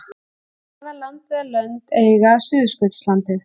hvaða land eða lönd eiga suðurskautslandið